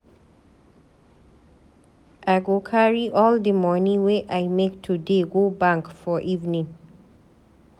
I go carry all di moni wey I make today go bank for evening.